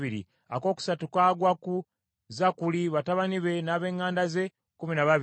akookusatu kagwa ku Zakkuli, batabani be n’ab’eŋŋanda ze, kkumi na babiri;